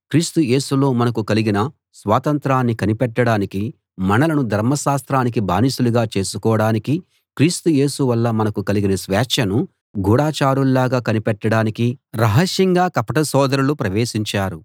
క్రీస్తు యేసులో మనకు కలిగిన స్వాతంత్రాన్ని కనిపెట్టడానికీ మనలను ధర్మశాస్త్రానికి బానిసలుగా చేసుకోడానికీ క్రీస్తు యేసు వల్ల మనకు కలిగిన స్వేచ్ఛను గూఢచారుల్లాగా కనిపెట్టడానికి రహస్యంగా కపట సోదరులు ప్రవేశించారు